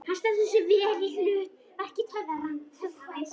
Hann stendur sig vel í hlut verki töffarans.